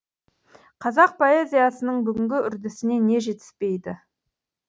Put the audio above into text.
қазақ поэзиясының бүгінгі үрдісіне не жетіспейді